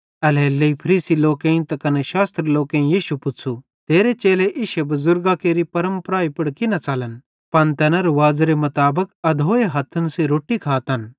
एल्हेरेलेइ फरीसी लोकेईं त कने शास्त्री लोकेईं यीशु पुच़्छ़ू तेरे चेले इश्शे बुज़ुर्गां केरि परमपरा पुड़ की न च़लन पन तैना रुवाज़ेरे खलाफ अधोए हथ्थन सेइं रोट्टी खातन